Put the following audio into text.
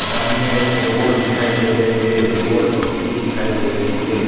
सामने एक रोड दिखाई दे रही है रोड पक्की दिखाई दे रही है।